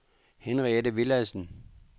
Henriette Villadsen